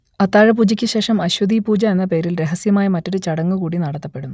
അത്താഴപൂജക്ക് ശേഷം അശ്വതീപൂജ എന്ന പേരിൽ രഹസ്യമായ മറ്റൊരു ചടങ്ങൂകൂടി നടത്തപ്പെടുന്നു